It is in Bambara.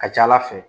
Ka ca ala fɛ